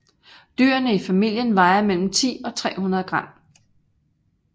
Dyrene i familien vejer mellem 10 og 300 g